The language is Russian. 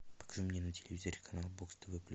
покажи мне на телевизоре канал бокс тв плюс